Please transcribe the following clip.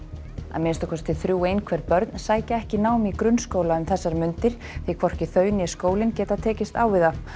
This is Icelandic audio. að minnsta kosti þrjú einhverf börn sækja ekki nám í grunnskóla um þessar mundir því hvorki þau né skólinn geta tekist á við það